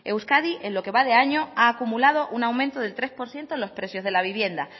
euskadi en lo que va de año ha acumulado un aumento del tres por ciento en los precios de la vivienda